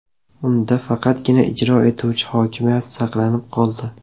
Unda faqatgina ijro etuvchi hokimiyat saqlanib qoldi.